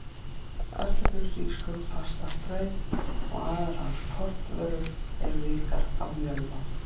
Kartöflur, hrísgrjón, pasta, brauð og aðrar kornvörur eru ríkar af mjölva.